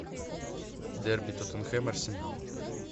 дерби тоттенхэм арсенал